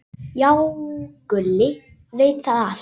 Já, Gulli veit þetta allt.